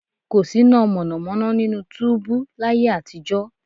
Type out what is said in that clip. Kò síná mọ̀nàmọ́ná nínú túúbú láyé àtijọ́